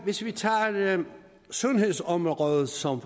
hvis vi tager sundhedsområdet som